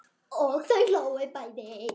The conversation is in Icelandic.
Og þau hlógu bæði.